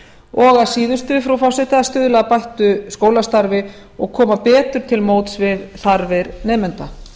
og að síðustu frú forseti að stuðla að bættu skólastarfi og koma betur til móts við þarfir nemenda